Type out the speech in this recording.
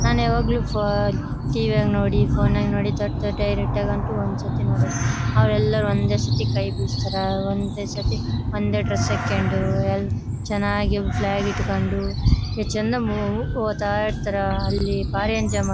ನನ್ ಯಾವಾಗ್ಲೂ ಟಿ.ವಿ ಯಂಗ್ ನೋಡಿ ಫೋನ್ ನಾಗ್ ದೊಡ್ದು ಡೈರೆಕ್ಟ್ ಆಗ್ ಅಂತೂ ಒಂದ್ ಸತಿ ನೋಡಿಲ್ಲ ಅವರು ಎಲ್ಲ ಒಂದೇ ಸತಿ ಕೈಬೀಸ್ತರ ಒಂದೇ ಸಾಥಿ ಒಂದೇ ಡ್ರೆಸ್ ಹಾಕೊಂಡು ಎಲ್ ಚೆನ್ನಾಗಿ ಫ್ಲಾಗ್ ಇಟ್ಕೊಂಡು ಎಸ್ಟ್ ಚೆಂದ ಮು ಹೋಗ್ತಾಯಿರ್ತಾರ ಅಲ್ಲಿ ಬಾರಿ ಎಂಜಾಯ್ ಮಾಡಬ --